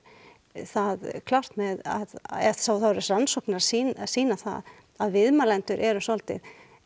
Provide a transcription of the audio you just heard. það klárt eða þá eru rannsóknir að sýna að sýna það að viðmælendur eru svolítið